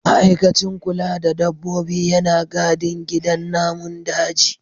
Ma'aikacin kula da dabbobi yana gadin gidan namun daji.